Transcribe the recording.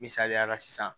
Misaliyala sisan